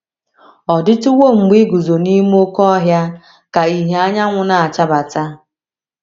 Ọ̀ DỊTỤWO mgbe i guzo n’ime oké ọhịa ka ìhè anyanwụ na - achabata?